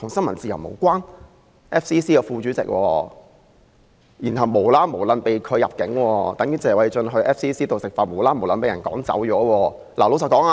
馬凱是 FCC 的副主席，無故被拒入境，情況等同謝議員在 FCC 用膳時無故被趕走一樣。